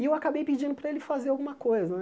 E eu acabei pedindo para ele fazer alguma coisa né.